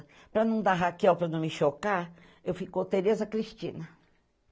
Para não dar Raquel, para não me chocar, eu fico Tereza Cristina.